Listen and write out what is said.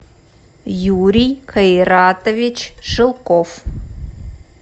юрий кайратович шелков